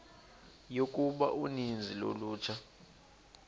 yokuba uninzi lolutsha